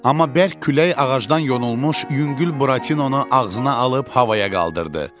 Amma bərk külək ağacdan yonulmuş yüngül Buratinonu ağzına alıb havaya qaldırdı.